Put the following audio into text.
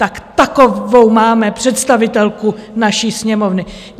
Tak takovou máme představitelku naší Sněmovny!